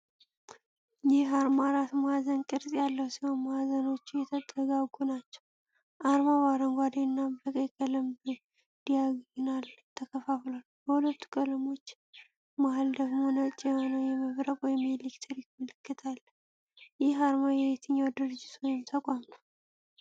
ይህ አርማ አራት ማዕዘን ቅርጽ ያለው ሲሆን፣ ማዕዘኖቹ የተጠጋጉ ናቸው። አርማው በአረንጓዴ እና በቀይ ቀለም በዲያግናል ተከፍሏል። በሁለቱ ቀለሞች መሃል ደግሞ ነጭ የሆነ የመብረቅ ወይም የኤሌክትሪክ ምልክት አለ። ይህ አርማ የየትኛው ድርጅት ወይም ተቋም ነው?